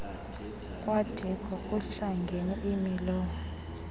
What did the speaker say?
kwadiko kuhlangene imilowo